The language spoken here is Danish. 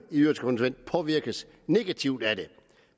påvirkes negativt af det